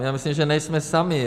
A myslím si, že nejsme sami.